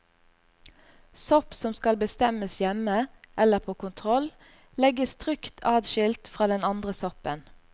Sopp som skal bestemmes hjemme eller på kontroll, legges trygt adskilt fra den andre soppen.